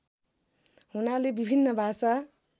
हुनाले विभिन्न भाषा